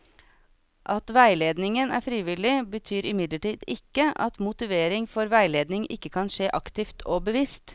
At veiledningen er frivillig, betyr imidlertid ikke at motivering for veiledning ikke kan skje aktivt og bevisst.